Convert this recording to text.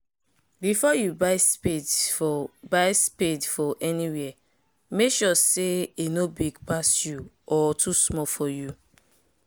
before you buy spade for buy spade for anywhere make sure say e nor big pass you or too small for you